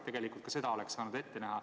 Tegelikult ka seda oleks saanud ette näha.